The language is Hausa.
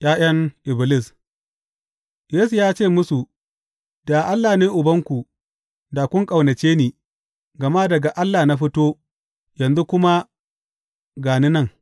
’Ya’yan Iblis Yesu ya ce musu, Da Allah ne Ubanku, da kun ƙaunace ni, gama daga Allah na fito yanzu kuma ga ni nan.